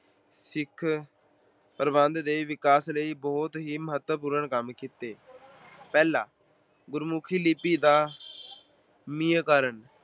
ਸਿੱਖ ਪ੍ਰਬੰਧ ਦੇ ਵਿਕਾਸ ਲਈ ਬਹੁਤ ਹੀ ਮਹੱਤਵਪੂਰਨ ਕੰਮ ਕੀਤੇ। ਪਹਿਲਾ- ਗੁਰਮੁੱਖੀ ਲਿਪੀ ਦਾ